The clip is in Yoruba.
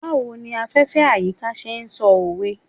Bawo ni afefe/ayika ṣe sọ owe